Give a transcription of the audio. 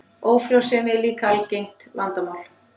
Ófrjósemi er líka algengt vandamál.